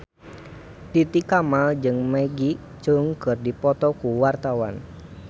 Titi Kamal jeung Maggie Cheung keur dipoto ku wartawan